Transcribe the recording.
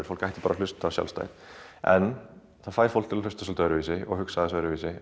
fólk ætti bara að hlusta sjálfstætt en það fær fólk til að hlusta öðruvísi og hugsa öðruvísi